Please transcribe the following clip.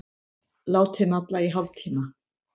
Látið malla í hálftíma.